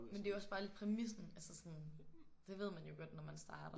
Men det er jo også bare lidt præmissen altså sådan det ved man jo godt når man starter